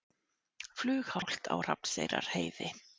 Flughált á Hrafnseyrarheiði